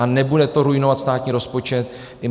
A nebude to ruinovat státní rozpočet.